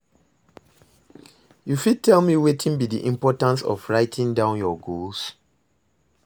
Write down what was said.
you fit tell me wetin be di importance of writing down your goals?